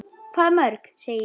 Hvað mörg, segi ég.